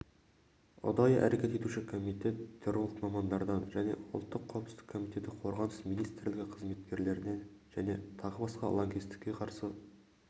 ұдайы әрекет етуші комитет терролог мамандардан және ұлттық қауіпсіздік комитеті қорғаныс министрлігі қызметкерлерінен және тағы басқа лаңкестікке қарсы